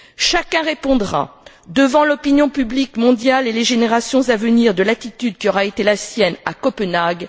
Chacun répondra devant l'opinion publique mondiale et les générations à venir de l'attitude qui aura été la sienne à Copenhague.